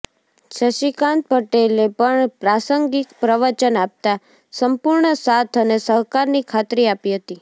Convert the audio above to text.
શશીકાંત પટેલે પણ પ્રાસંગિક પ્રવચન આપતાં સંપૂર્ણ સાથ અને સહકારની ખાત્રી આપી હતી